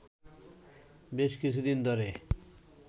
বেশ কিছুদিন ধরে